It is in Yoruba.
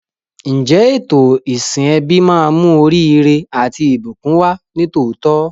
Ǹjẹ́ ètò ìsìn ẹbí máa mú oríire àti ìbùkún wá ní tòótọ́?